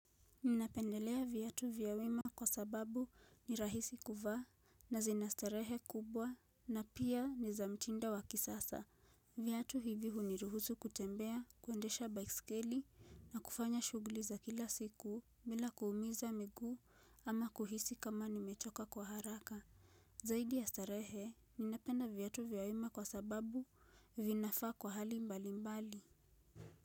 Ninapendelea viatu vya wima kwa sababu ni rahisi kuvaa na zina starehe kubwa na pia ni za mtindo wa kisasa. Viatu hivi huniruhusu kutembea, kuendesha baiskeli na kufanya shughuli za kila siku bila kuumiza miguu ama kuhisi kama nimechoka kwa haraka. Zaidi ya starehe, ninapenda viatu vya wima kwa sababu vinafaa kwa hali mbali mbali.